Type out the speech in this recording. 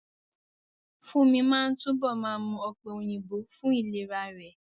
Fúnmi máa túbọ̀ máa mú ọ̀pẹ̀ òyìnbó fún ìlera rẹ̀